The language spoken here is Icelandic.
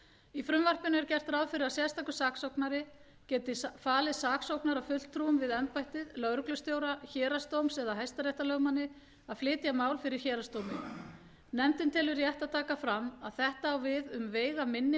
í frumvarpinu er gert ráð fyrir að sérstakur saksóknari geti falið saksóknarafulltrúum við embættið lögreglustjóra héraðsdóms eða hæstaréttarlögmanni að flytja mál fyrir héraðsdómi nefndin telur rétt að taka fram að þetta á við um veigaminni